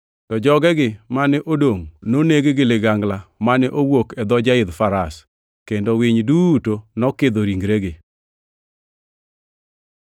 To jogegi mane odongʼ noneg gi ligangla mane owuok e dho jaidh faras, kendo winy duto nokidho ringregi.